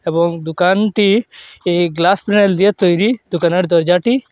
এবং দোকানটি এই দিয়ে তৈরি দোকানের দরজাটি--